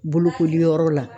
Bolokoli yɔrɔ la.